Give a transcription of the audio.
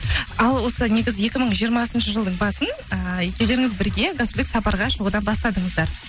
ал осы негізі екі мың жиырмасыншы жылдың басын ііі екеулеріңіз бірге гастрольдік сапарға шығудан бастадыңыздар